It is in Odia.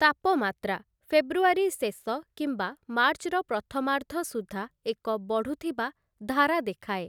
ତାପମାତ୍ରା, ଫେବୃଆରୀ ଶେଷ କିମ୍ବା ମାର୍ଚ୍ଚର ପ୍ରଥମାର୍ଦ୍ଧ ସୁଦ୍ଧା ଏକ ବଢ଼ୁଥିବା ଧାରା ଦେଖାଏ ।